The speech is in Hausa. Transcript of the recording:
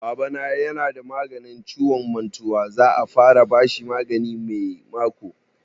Baba na ya na da ciwon mantau, za a fara bashi magani mako mai zuwa